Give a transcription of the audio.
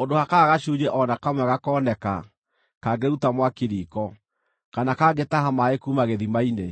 ũndũ hakaaga gacunjĩ o na kamwe gakoneka kangĩruta mwaki riiko, kana kangĩtaha maaĩ kuuma gĩthima-inĩ.”